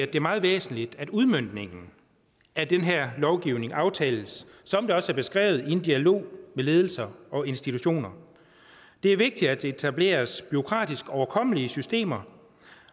det er meget væsentligt at udmøntningen af den her lovgivning aftales som det også er beskrevet i en dialog med ledelser og institutioner det er vigtigt at der etableres bureaukratisk overkommelige systemer